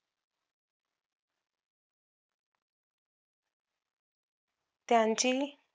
त्यांची